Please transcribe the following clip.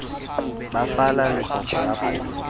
ba fala lekoko la pholo